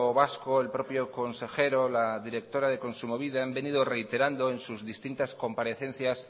vasco el propio consejero la directora de kontsumobide han venido reiterando en sus distintas comparecencias